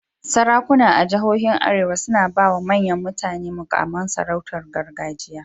Sarakuna a jihohin Arewa suna ba wa manyan mutane muƙaman sarautar gargajiya.